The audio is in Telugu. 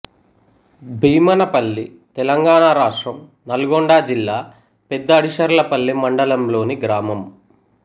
భీమనపల్లి తెలంగాణ రాష్ట్రం నల్గొండ జిల్లా పెద్దఅడిశర్లపల్లి మండలంలోని గ్రామం